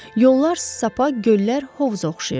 Yollar sapa, göllər hovuza oxşayırdı.